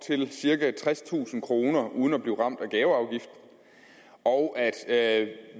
til cirka tredstusind kroner uden at blive ramt af gaveafgift og at